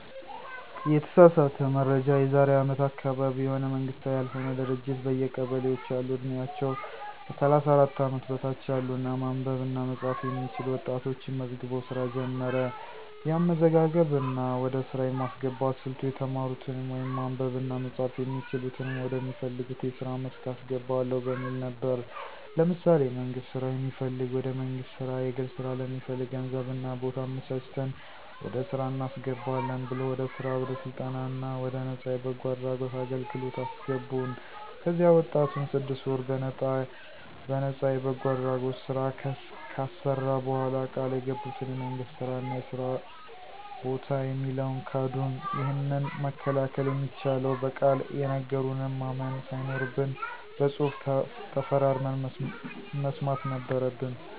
የተሳሳተ መረጃ የዛሬ አመት አካባቢ የሆነ መንግስታዊ ያልሆነ ድርጅት በየቀበሌዎች ያሉ ዕድሜያቸው ከ 34 አመት በታች ያሉ እና ማንበብ እና መፃፍ የሚችሉ ወጣቶችን መዝግቦ ሥራ ጀመረ። የአመዘጋገብ እና ወደ ሥራ የማስገባት ሥልቱ የተማሩትንም ወይም ማንበብ እና መጻፍ የሚችሉትንም ወደ ሚፈልጉት የስራ መስክ አስገባለሁ በሚል ነበር። ለምሳሌ የመንግስት ስራ የሚፈልግ ወደ መንግስት ስራ፣ የግል ስራ ለሚፈልግ ገንዘብ እና ቦታ አመቻችተን ወደ ስራ እናስገባለን ብሎ ወደ ስራ ወደ ስልጠና እና ወደ ነፃ የበጎ አድራጎት አገልግለት አሰገቡን። ከዚያ ወጣቱን ስድስት ወር በነጣ የበጎ አድራጎት ስራ ካሰራ በኋላ ቃል የገቡትን የመንግስት ስራ እና የስራ በታ የሚለውን ካዱን። ይህንን መከላከል የሚቻለው በቃል የነገሩንን ማመን ሳይኖርብን በፅሁፍ ተፈራርመን መስማት ነበረበን።